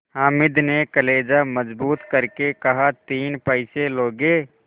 हामिद ने कलेजा मजबूत करके कहातीन पैसे लोगे